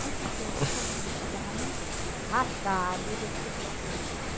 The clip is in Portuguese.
Com certeza, os convênios são rachados e as pessoas saem de lá.